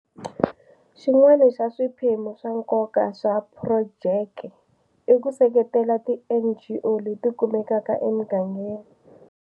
Xin'wana xa swiphemu swa nkoka swa phurojeke i ku seketela tiNGO leti kumekaka emigangeni.